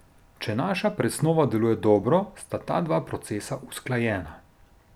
Če naša presnova deluje dobro, sta ta dva procesa usklajena.